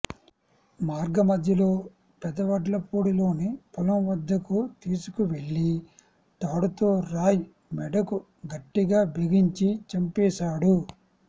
మార్గమధ్యలో పెదవడ్లపూడిలోని పొలం వద్దకు తీసుకువెళ్లి తాడుతో రాయ్ మెడకు గట్టిగా బిగించి చంపేశాడు